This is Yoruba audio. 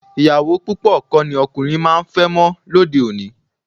Ìyàwó púpọ̀ kọ́ ni ọkùnrin máa ń fẹ́ mọ́ lóde òní